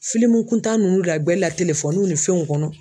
Filimu kuntan ninnu lagɛlila ni fɛnw kɔnɔ.